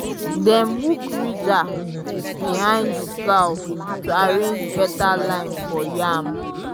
dem hook ridger behind the plow to arrange better line for yam.